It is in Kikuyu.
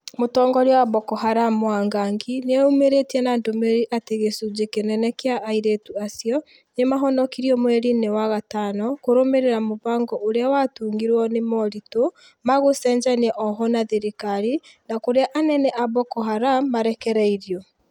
Mũtongoria wa Boko Haram Mwangangi, nĩeyumĩrĩtie na ndũmĩrĩri atĩ gĩcunji kĩnene kĩa airĩtũ acio nĩmahonokirio mweri-inĩ wa gatano kũrũmĩrĩra mũbango ũrĩa watungirwo nĩ moritũ ma gũcenjania ohwo na thirikari na kurĩa anene a Boko Haram marekereirio.